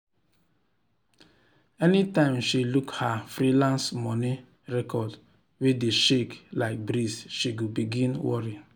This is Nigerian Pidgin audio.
anytime she look her freelance money record wey dey shake like breeze she go begin worry.